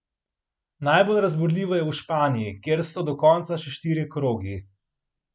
Najbolj razburljivo je v Španiji, kjer so do konca še štirje krogi.